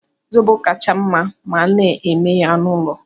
Zobo kacha mma ma a na-eme ya n'ụlọ.